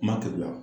Kuma kɛli la